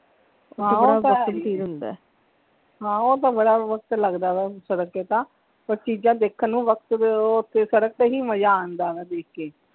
ਹਾਂ ਉਹ ਤਾਂ ਹੈ ਹਾਂ ਉਹ ਤਾਂ ਬੜਾ ਵਖਤ ਲਗਦਾ ਵਾ ਸੜਕ ਤੇ ਤਾਂ ਪਰ ਚੀਜ਼ਾਂ ਦੇਖਣ ਨੂੰ ਵਖਤ ਦੇ ਉਹ ਸੜਕ ਤੇ ਹੀ ਮਜ਼ਾ ਆਉਂਦਾ ਹੈ ਦੇਖ ਕੇ।